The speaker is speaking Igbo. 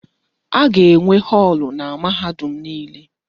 A ga-enwe họọlụ na mahadum niile.